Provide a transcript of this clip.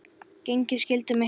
Gegnið skyldum ykkar!